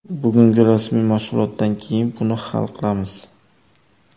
Bugungi rasmiy mashg‘ulotdan keyin buni hal qilamiz.